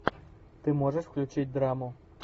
ты можешь включить драму